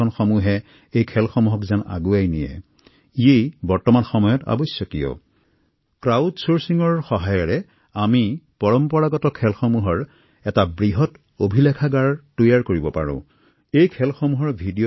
এই ধৰণৰ খেলৰ আৱশ্যকীয় নীতিনিয়ম সন্নিবিষ্ট কৰি ভিডিঅ তৈয়াৰ কৰিব পাৰি